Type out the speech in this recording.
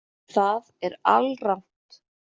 Það er alrangt